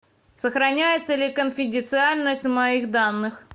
сохраняется ли конфиденциальность моих данных